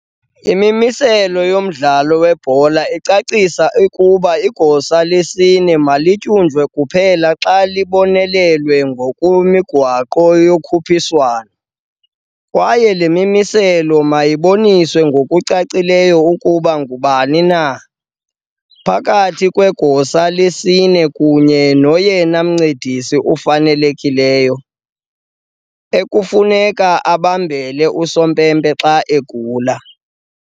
IMimiselo yoMdlalo weBhola icacisa ukuba igosa lesine malityunjwe kuphela xa libonelelwe ngokwemigaqo yokhuphiswano, kwaye le mimiselo mayibonise ngokucacileyo ukuba ngubani na, phakathi kwegosa lesine kunye noyena mncedisi ufanelekileyo, ekufuneka ebambele usompempe xa egula.